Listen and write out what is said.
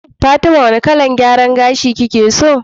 Fatima wane kalar gyaran gashi kike so?